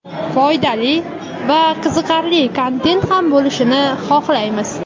foydali va qiziqarli kontent ham bo‘lishini xohlaymiz.